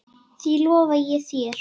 Því lofa ég þér